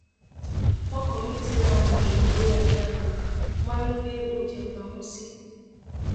ọkọ mi ti lahùn ju orí ajá lọ máa ń gbé oúnjẹ pamọ sí